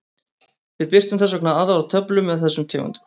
Við birtum þess vegna aðra töflu með þessum tegundum.